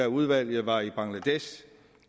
udvalget var i bangladesh